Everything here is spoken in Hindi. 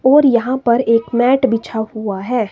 और यहां पर एक मैट बिछा हुआ है।